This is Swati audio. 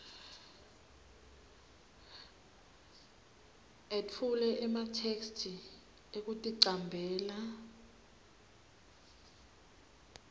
etfule ematheksthi ekuticambela